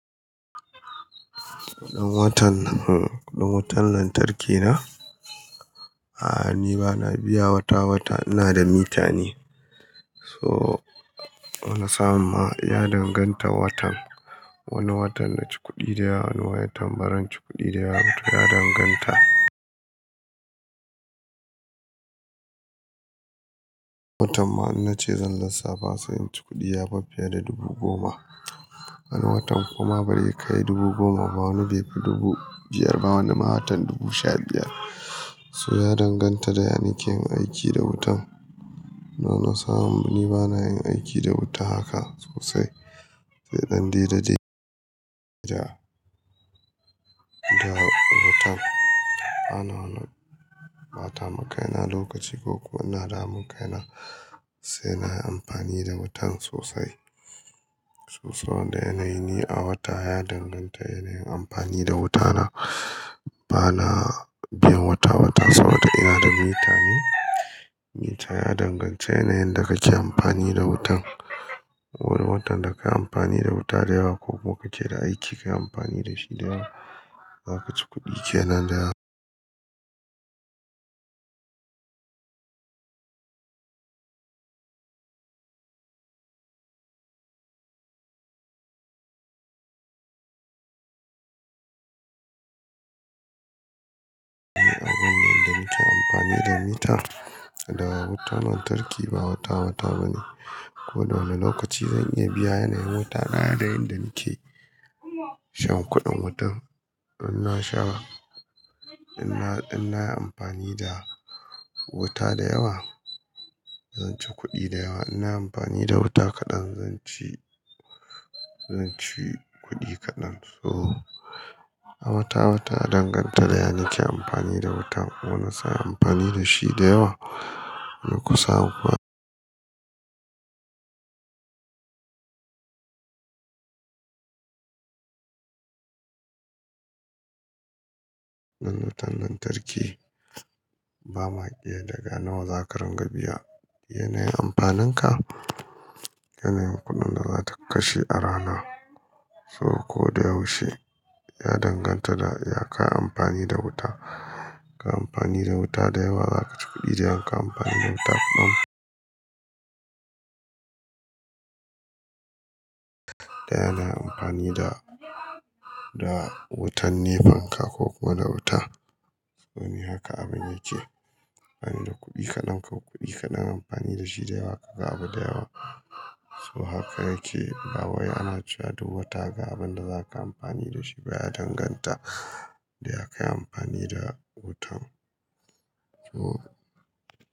Kuɗin watan hmn kuɗin wutan lantarki na? A'a, ni bana biya wata-wata. Ina da mita ne, so wani samu ma ya danganta watan. Wani watan na ci kuɗi da yawa, wani watan baran ci kuɗi da yawa. To ya danganta. Watan ma in nace zan lissafa sai in ci kuɗi ya fi fiye da dubu goma. Wani watan kuma barai kai dubu goma ba, wani bai fi dubu biyar ba, wani ma watan dubu sha biyar. So ya danganta da yanike yin aiki da wutan. Amma na samun ni bana yin aiki da wuta haka sosai. Sai ɗan daidai da wutan. Bana wani ɓata makaina lokaci ko kuwa ina damun kaina sai na yi amfani da wutan sosai. So saboda yanayi ni a wata ya danganta yanayin amfani da wuta na. Bana biyan wata-wata saboda ina da mita ne. Mita ya danganta yanayin da kake amfani da wutan. Wani watan da ka yi amfani da wuta da yawa ko kuma kake da aiki ka yi amfani da shi da yawa, za ka ci kuɗi kenan da yawa. Abin nan da muke amfani da mita da wutan lantarki ba wata-wata ba ne. Ko da wane lokaci zan iya biya yanayin wuta na yanayin da nake shan kuɗin wutan. In na sha, in na, in na yi amfani da wuta da yawa, zan ci kuɗi da yawa. In na yi amfani da wuta kaɗan, zan ci, zan ci kuɗi kaɗan. So a wata-wata ya danganta da yanake amfani da wutan. Ko na sa amfani da shi da yawa, ko kusa. Nan wutan lantarki ba ma iya daga nawa za ka rangar biya yanayin amfanin ka, yanayin kuɗin da za ka kashe a rana. So ko da yaushe ya danganta da ya ka yi amfani da wuta. Ka yi amfani da wuta da yawa, za ka ci kuɗi da yawa. Ka yi amfani da wuta kaɗan, da yanayi amfani da, da wutan ne fan ka ko kuwa da wuta. Wani haka abin yake. Ana yi da kuɗi kaɗan ka kuɗi kaɗan. Amfani da shi da yawa ka ga abu da yawa. So haka yake. Eh bawai ana cewa duk wata ga abin da za ka yi amfani da shi, ba ya danganta da ya ka yi amfani da wutan. So.